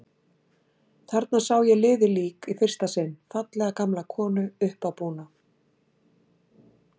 Þarna sá ég liðið lík í fyrsta sinn, fallega gamla konu, uppábúna.